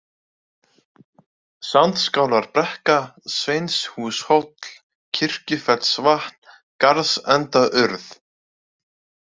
Sandskálarbrekka, Sveinshúshóll, Kirkjufellsvatn, Garðsendaurð